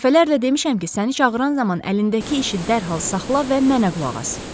Dəfələrlə demişəm ki, səni çağıran zaman əlindəki işi dərhal saxla və mənə qulaq as.